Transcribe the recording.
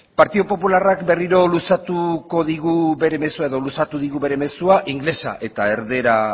partidu popularrak berriro luzatuko digu bere mezua edo luzatu digu bere mezua ingelesa eta erdara